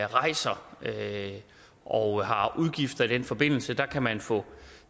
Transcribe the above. rejser og har udgifter i den forbindelse der kan man få